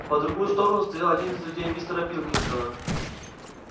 по другую сторону стоял один из людей мистера пилкингтона